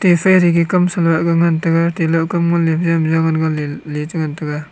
efe rege kamsa nahga ngan taiga telah kam nganley ngan taiga.